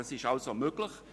Das ist also möglich.